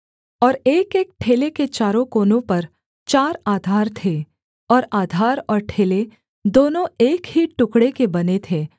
और एकएक ठेले के चारों कोनों पर चार आधार थे और आधार और ठेले दोनों एक ही टुकड़े के बने थे